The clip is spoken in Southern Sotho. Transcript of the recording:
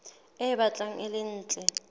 e batlang e le ntle